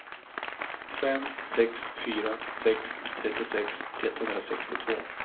fem sex fyra sex trettiosex etthundrasextiotvå